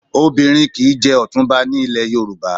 Obìnrin kì í jẹ ọ̀túnba ní ilẹ̀ Yorùbá